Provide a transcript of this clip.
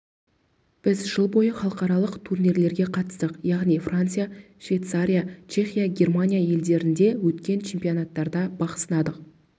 біз жыл бойы халықаралық турнирлерге қатыстық яғни франция швейцария чехия германия елдерінде өткен чемпионаттарда бақ сынадық